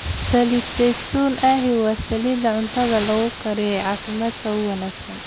Saliid saytuun ahi waa saliidda cuntada lagu kariyo ee caafimaadka u wanaagsan.